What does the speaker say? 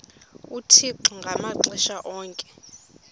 uthixo ngamaxesha onke